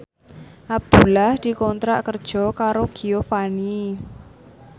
Abdullah dikontrak kerja karo Giovanni